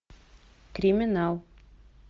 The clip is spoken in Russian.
криминал